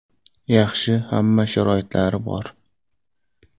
Yaxshi, hamma sharoitlari bor.